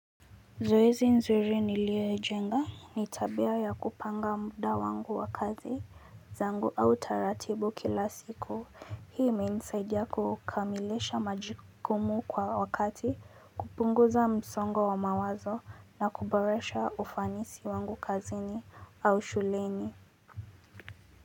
Zoezi nzuri niliyo jenga ni tabia ya kupanga muda wangu wa kazi zangu au taratibu kila siku hii imenisaidia kukamilisha majukumu kwa wakati kupunguza msongo wa mawazo na kuboresha ufanisi wangu kazini au shuleni.